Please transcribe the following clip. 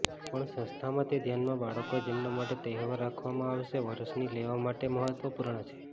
પણ સંસ્થામાં તે ધ્યાનમાં બાળકો જેમના માટે તહેવાર રાખવામાં આવશે વર્ષની લેવા માટે મહત્વપૂર્ણ છે